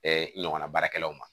ɲɔgɔnna baarakɛlaw ma